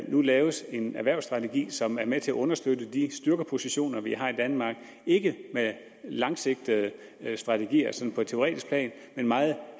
nu laves en erhvervsstrategi som er med til at understøtte de styrkepositioner vi har i danmark ikke med langsigtede strategier sådan på et teoretisk plan men meget